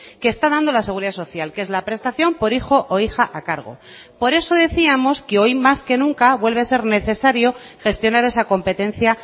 que está dando la seguridad social que es la prestación por hijo o hija a cargo por eso decíamos que hoy más que nunca vuelve a ser necesario gestionar esa competencia